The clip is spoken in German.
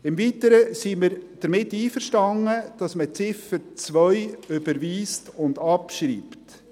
Im Weiteren sind wir damit einverstanden, dass man die Ziffer 2 überweist und abschreibt.